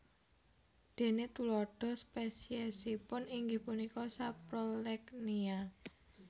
Déné tuladha spesiesipun inggih punika Saprolegnia